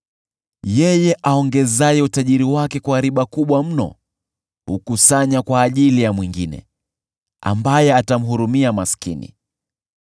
Yeye aongezaye utajiri wake kwa riba kubwa mno hukusanya kwa ajili ya mwingine, ambaye atawahurumia maskini.